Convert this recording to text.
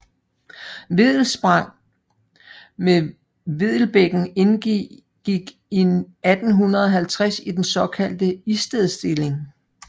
Vedelspang med Vedelbækken indgik i 1850 i den såkaldte Istedstilling